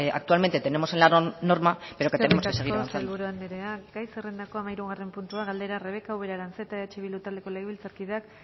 actualmente tenemos en la norma pero tenemos que seguir avanzando eskerrik asko sailburu anderea gai zerrendako hamahirugarren puntua galdera rebeka ubera aranzeta eh bildu taldeko legebiltzarkideak